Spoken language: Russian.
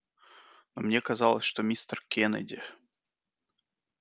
но мне казалось что мистер кеннеди